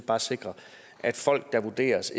bare sikre at folk der vurderes